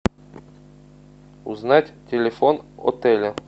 узнать телефон отеля